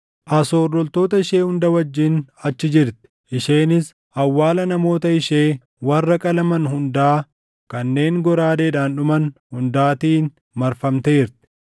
“Asoor loltoota ishee hunda wajjin achi jirti; isheenis awwaala namoota ishee warra qalaman hundaa kanneen goraadeedhaan dhuman hundaatiin marfamteerti.